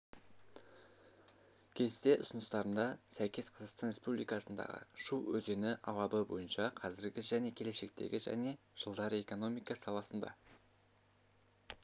кесте ұсыныстарына сәйкес қазақстан республикасындағы шу өзені алабы бойынша қазіргі және келешектегі және жылдары экономика саласында